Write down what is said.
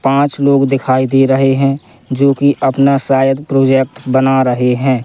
पांच लोग दिखाई दे रहे हैं जोकि अपना शायद प्रोजेक्ट बना रहे हैं।